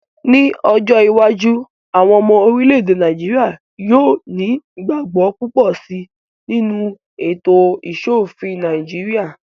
Ní ọjọ́ iwájú, àwọn ọmọ orílẹ̀-èdè Nàìjíríyà yóò ní ìgbàgbọ́ púpọ̀ síi nínú ètò ìṣòofin Nàìjíríyà